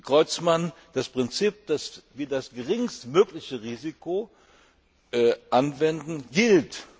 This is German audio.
Herr Creutzmann, das Prinzip, dass wir das geringstmögliche Risiko anwenden, gilt.